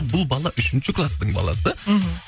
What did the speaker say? бұл бала үшінші кластың баласы мхм